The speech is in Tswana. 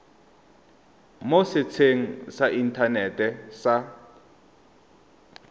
mo setsheng sa inthanete sa